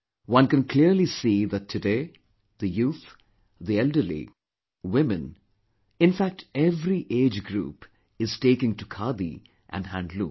One can clearly see that today, the youth, the elderly, women, in fact every age group is taking to Khadi & handloom